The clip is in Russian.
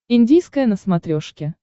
индийское на смотрешке